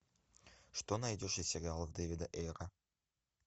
что найдешь из сериалов дэвида эйера